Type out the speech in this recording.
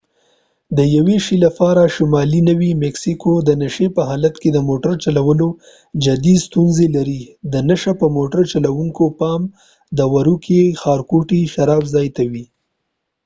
د یوه شي لپاره شمالی نوي مکسیکو د نشي په حالت کې د موټړ چلولو جدي ستونزی لري د نشه یې موټر چلوونکو پام د وروکې ښارګوټی شراب ځای ته وي